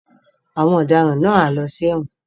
Àwọn ọdaràn náà á lọ sí ẹ̀wọ̀n.